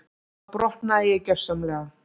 Þá brotnaði ég gjörsamlega.